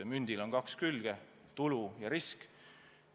Mündil on kaks külge: tulu ja risk.